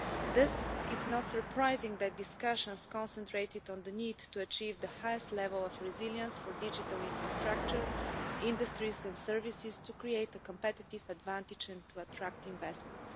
Thus, it is not surprising that discussion has concentrated on the need to achieve the highest level of resilience for digital infrastructure, industries and services, to create a competitive advantage and to attract investment.